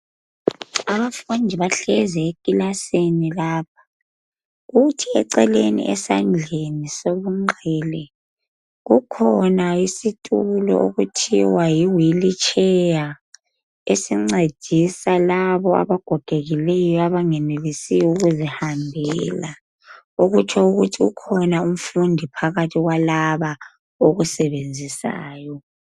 Abafundi bahlezi ekilasini lapha, kuthi eceleni esandleni sokunxele kukhona isitulo okuthiwa yiwilitsheya esincedisa labo abagogekileyo abangenelisi ukuzihambela okutsho ukuthi ukhona umfundi phakathi kwalaba okusebenzisayo.